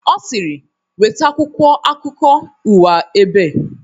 Ọ sịrị"nweta akwụkwọ akukọ uwa ebe"